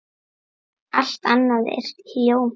Allt annað er hjóm eitt.